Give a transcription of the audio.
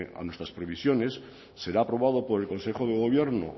a nuestras previsiones será aprobado por el consejo de gobierno